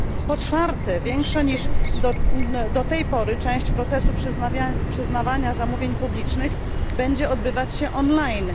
Po czwarte, większa niż do tej pory część procesu przyznawania zamówień publicznych będzie odbywać się online.